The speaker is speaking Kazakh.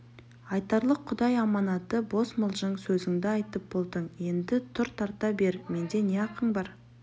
айтарлық құдай аманаты бос мылжың сөзіңді айтып болдың енді тұр тарта бер менде не ақың бар